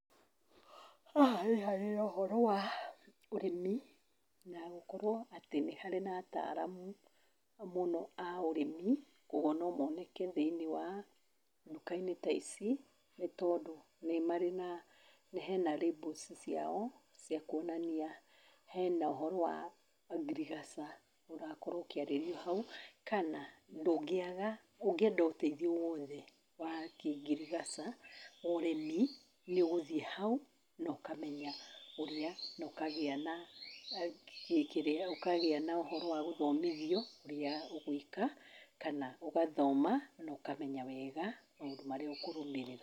Haha nĩ harĩ ũhoro wa ũrĩmi na gũkorwo atĩ nĩ harĩ na ataramu mũno a ũrĩmi, koguo no moneke thĩiniĩ wa nduka-inĩ ta ici, nĩ tondũ nĩ marĩ hena labels ciao cia kuonania hena ũhoro wa ngirigaca ũrakorwo ũkĩarĩrio hau, kana ndũngĩaga ũngĩenda ũteithio o wothe wa kĩngirigaca, ũrĩmi nĩũgũthĩ hau no kamenya ũrĩa na ũkagĩa na ũhoro wa gũthomithia ũrĩa ũgwĩka kana ũgathoma no kamenya wega maũndũ marĩa ũkũrũmĩrĩra.